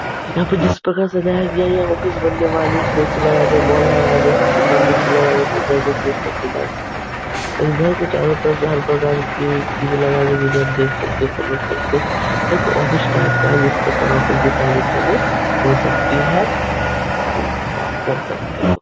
यहाँ पे जिस प्रकार सजाया गया है यह ऑफिस बनने वाली इसमें ए.सी. लगा के लगा के को बीच में लगा के को सेफ रखा जा सके और ये घर को चारों तरफ से हर प्रकार की चीजें लगाई गई जिन्हें आप देख सकते हो समझ सकते हो। एक ऑफिस टाईप का है जिस प्रकार ऑफिस की सारी कामें हो सकती है। कर सकते हो।